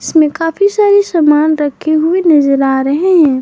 इसमें काफ़ी सारे सामान रखे हुए नज़र आ रहे हैं।